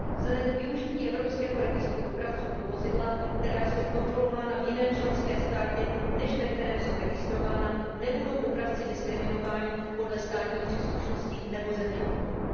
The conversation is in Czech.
Vzhledem k využití evropského registru dopravců pro vozidla, která jsou kontrolována v jiném členském státě, než ve kterém jsou registrována, nebudou dopravci diskriminováni podle státní příslušnosti nebo země původu.